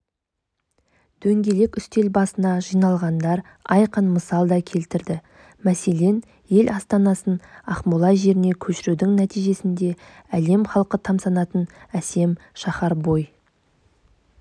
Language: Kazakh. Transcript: дөңгелек үстел басына жиналғандар айқын мысал да келтірді мәселен ел астанасын ақмола жеріне көшірудің нәтижесінде әлем халқы тамсанатын әсем шаһар бой